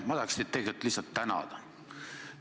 Ma tahaksin teid tegelikult lihtsalt tänada.